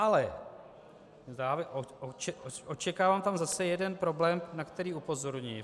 Ale očekávám tam zase jeden problém, na který upozorňuji.